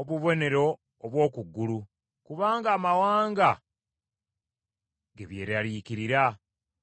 obubonero obw’oku ku ggulu, kubanga amawanga ge byeraliikirira.